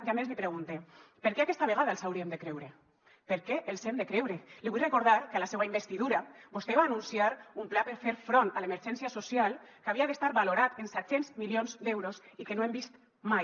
i a més li pregunte per què aquesta vegada els hauríem de creure per què els hem de creure li vull recordar que a la seua investidura vostè va anunciar un pla per fer front a l’emergència social que havia d’estar valorat en set cents milions d’euros i que no hem vist mai